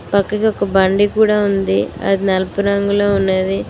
పక్కకి ఒక బండి కూడా ఉంది అది నలుపు రంగులో ఉన్నది.